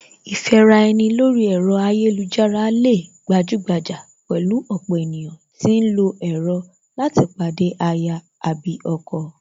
Ìfẹ́ra ẹni lórí ẹ̀rọ ayélujára lè gbajúgbajà pẹ̀lú ọ̀pọ̀ ènìyàn tí ń lọ ẹ̀rọ tí láti pàdé aya/ ọkọ